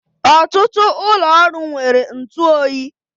Ọtụtụ ụlọ ọrụ nwere ntụ oyi